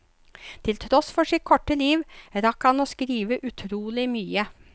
Til tross for sitt korte liv, rakk han å skrive utrolig mye.